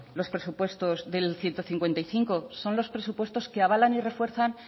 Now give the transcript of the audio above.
los presupuestos del ciento cincuenta y cinco son los presupuestos que avalan y refuerzan